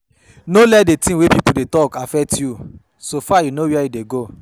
No let di things wey pipo dey talk affect you, so far you know where you dey go